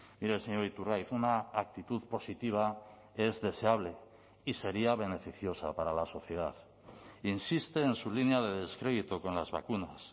mire señor iturgaiz una actitud positiva es deseable y sería beneficiosa para la sociedad insiste en su línea de descrédito con las vacunas